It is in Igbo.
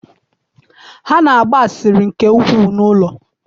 Ha na-agba asịrị nke ukwuu n’ụlọ.